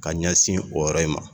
Ka ɲɛsin o yɔrɔ in ma